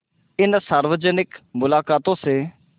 इन सार्वजनिक मुलाक़ातों से